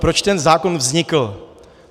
Proč ten zákon vznikl?